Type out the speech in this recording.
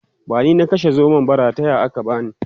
bani na kashe zomon ba rataya aka bani